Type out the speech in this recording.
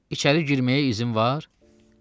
İçəri girməyə izin var?